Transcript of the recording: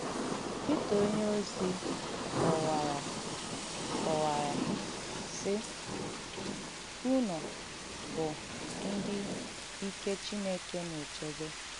Pítà onye-òzì kọ̀wàrā, kọ̀wàrā, sị: ‘Ùnụ̀ bụ̀ ndị ìkẹ Chineke na-èchēbē.’